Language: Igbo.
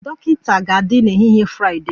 Dọkịta ga-adị n'ehihie Fraịdee